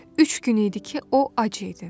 Üç gün idi ki, o ac idi.